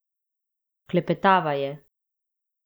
Klepetava je.